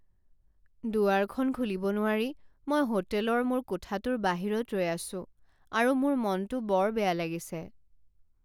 দুৱাৰখন খুলিব নোৱাৰি মই হোটেলৰ মোৰ কোঠাটোৰ বাহিৰত ৰৈ আছোঁ আৰু মোৰ মনটো বৰ বেয়া লাগিছে।